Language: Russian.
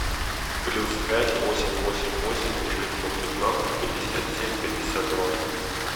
плюс пять восемь восемь восемь девятьсот пятнадцать пятьдесят семь пятьдесят два